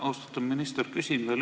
Austatud minister!